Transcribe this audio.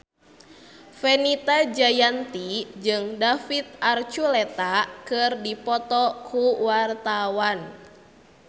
Fenita Jayanti jeung David Archuletta keur dipoto ku wartawan